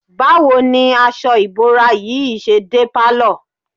Báwo ni aṣọ ìbora yìí ṣe dé pálọ̀?